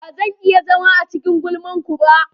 Ba zan iya zama a cikin gulman ku ba.